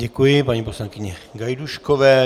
Děkuji paní poslankyni Gajdůškové.